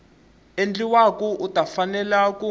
endliwaka u ta fanela ku